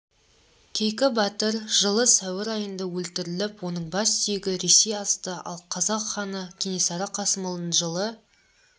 кейкі батыр жылы сәуір айында өлтіріліп оның бассүйегі ресей асты ал қазақ ханы кенесары қасымұлын жылы